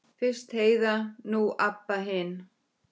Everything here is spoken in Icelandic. Fyrst Heiða, nú Abba hin.